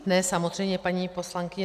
Ne, samozřejmě, paní poslankyně.